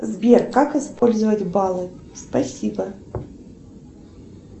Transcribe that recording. сбер как использовать баллы спасибо